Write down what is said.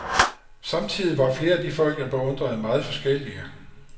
Samtidig var flere af de folk, jeg beundrede, meget forskellige.